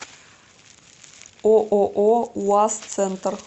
ооо уаз центр